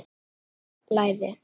Von að það blæði!